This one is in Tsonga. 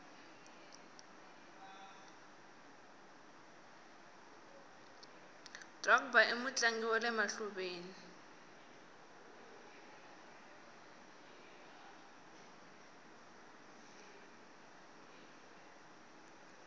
drogba imutlangi wale mahluveni